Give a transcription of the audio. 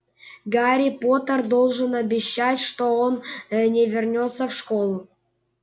гарри поттер должен обещать что он э не вернётся в школу